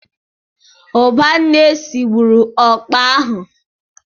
Ụbanne sigburu ụkpà ahụ.